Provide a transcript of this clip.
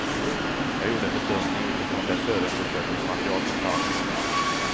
Jag gjorde en bedömning utifrån det förundersökningsmaterial som fanns.